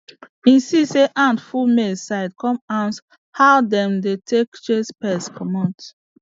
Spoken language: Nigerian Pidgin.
he see say ant full maize side come ask how dem dey take chase pest comot